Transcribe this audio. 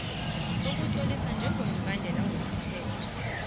sokutloliswa njengobhadela umthelo